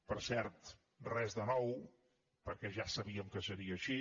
per cert res de nou perquè ja sabíem que seria així